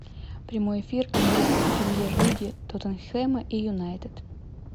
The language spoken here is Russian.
прямой эфир английской премьер лиги тоттенхема и юнайтед